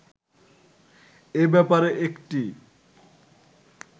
এ ব্যাপারে একটি